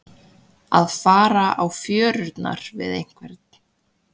Að fara á fjörurnar við einhvern